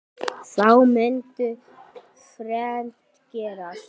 Þá mundi þrennt gerast